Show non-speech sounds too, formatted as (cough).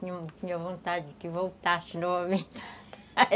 Tinha tinha vontade que voltasse novamente (laughs)